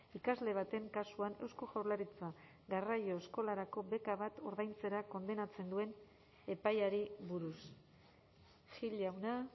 ikasle baten kasuan eusko jaurlaritza garraio eskolarako beka bat ordaintzera kondenatzen duen epaiari buruz gil jauna